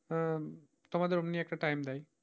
হ্যাঁ তোমাদের অমনি একটা time দেয়।